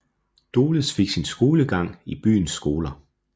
Doles fik sin skolegang i byens skoler